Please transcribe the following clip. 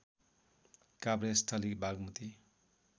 Kabhresthali Bagmati